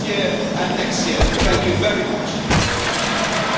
Comunico di aver ricevuto 7 proposte di risoluzione